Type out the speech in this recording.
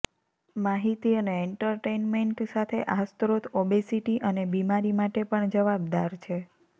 માહિતી અને એન્ટરટેઇનમેન્ટ સાથે આ સ્ત્રોત ઓબેસિટી અને બીમારી માટે પણ જવાબદાર છે